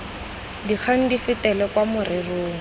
dikgang di fetele kwa morerong